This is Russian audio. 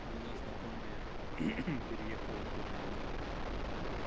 у меня знакомая переехала в германию